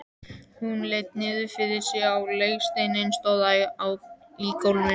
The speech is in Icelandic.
Hún leit niður fyrir sig á legsteininn stóra í gólfinu.